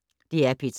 DR P3